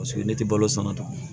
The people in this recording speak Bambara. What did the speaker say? Paseke ne tɛ balo san ka taa